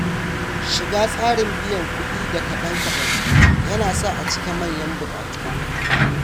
Shiga tsarin biyan kuɗi da kaɗan-kaɗan ya na sa a cika manyan bukatu.